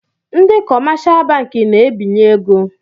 Ndị kọmáshá bankị na-ebinyè égo